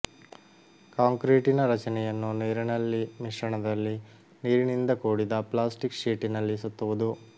ಕಾಂಕ್ರೀಟಿನ ರಚನೆಯನ್ನು ನೀರಿನಲ್ಲಿ ಮಿಶ್ರಣದಲ್ಲಿ ನೀರಿನಿಂದ ಕೂಡಿದ ಪ್ಲಾಸ್ಟಿಕ್ ಶೀಟಿನಲ್ಲಿ ಸುತ್ತುವುದು